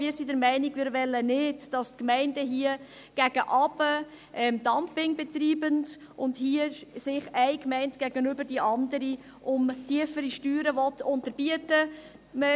– Wir sind der Meinung, dass wir nicht wollen, dass die Gemeinden hier Dumping gegen unten betreiben und sich hier eine Gemeinde die andere um tiefere Steuern unterbieten will.